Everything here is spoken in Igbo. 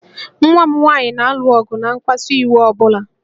Nwa m nwaanyị na-alụ ọgụ na mkpasu iwe ọ bụla